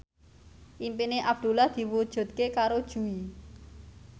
impine Abdullah diwujudke karo Jui